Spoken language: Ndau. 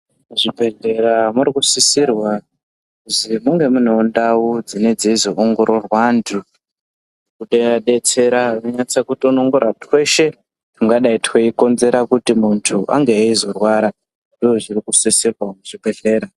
Muzvibhehleya murikusisirwa kuzi munge munewo ndau dzine dzeiwongororwa antu kundoadetsera kutonongora twese tungakonzera kuti muntu ane eizorwara .Ndozvikusisirwa muzvibhehlera